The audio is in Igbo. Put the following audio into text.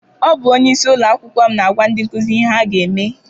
Ọ bụ onyeisi ụlọakwụkwọ m na-agwa ndị nkụzi ihe ha ga eme.